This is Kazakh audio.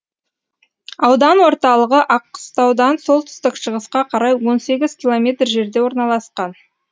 аудан орталығы аққыстаудан солтүстік шығысқа қарай он сегіз километр жерде орналасқан